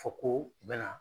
Fɔ ko, u bɛ na